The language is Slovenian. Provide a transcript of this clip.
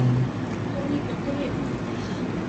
To ni potrebno!